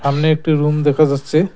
সামনে একটি রুম দেখা যাচ্ছে।